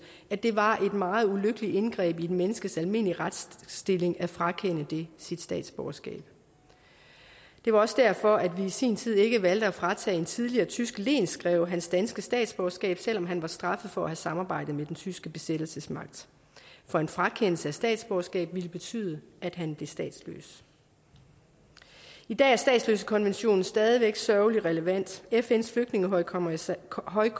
at det var et meget ulykkeligt indgreb i et menneskes almindelige retsstilling at frakende det sit statsborgerskab det var også derfor at vi i sin tid ikke valgte at fratage en tidligere tysk lensgreve hans danske statsborgerskab selv om han var straffet for at have samarbejdet med den tyske besættelsesmagt for en frakendelse af statsborgerskab ville betyde at han blev statsløs i dag er statsløsekonventionen stadig væk sørgelig relevant fns flygtningehøjkommissariat